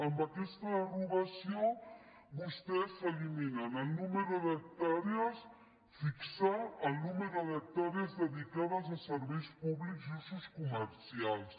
amb aquesta derogació vostès eliminen el nombre d’hectàrees fixar el nombre d’hectàrees dedicades a serveis públics i usos comercials